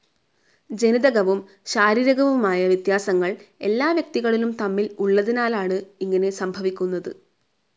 ജനിതകവും ശാരീരികവുമായ വ്യത്യാസങ്ങൾ എല്ലാ വ്യക്തികളും തമ്മിൽ ഉള്ളതിനാലാണ് ഇങ്ങനെ സംഭവിക്കുന്നത്.